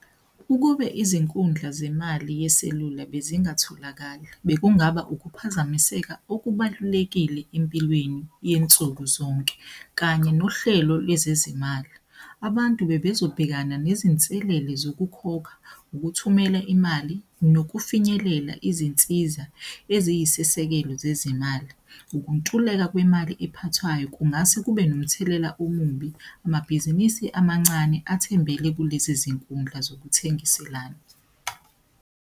Ukube izinkundla zemali yeselula bezingatholakali, bekungaba ukuphazamiseka okubalulekile empilweni yensuku zonke, kanye nohlelo lwezezimali. Abantu bebezobhekana nezinselele zokukhokha, ukuthumela imali nokufinyelela izinsiza eziyisisekelo zezimali. Ukuntuleka kwemali ephathwayo kungase kube nomthelela omubi. Amabhizinisi amancane athembele kulezi zinkundla zokuthengiselana.